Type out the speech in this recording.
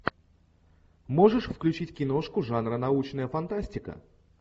можешь включить киношку жанра научная фантастика